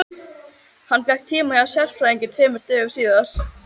Hann fékk tíma hjá sérfræðingi tveimur dögum síðar.